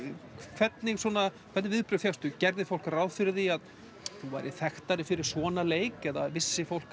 hvernig hvernig viðbrögð fékkstu gerði fólk ráð fyrir því að þú værir þekktari fyrir svona leik eða vissi fólk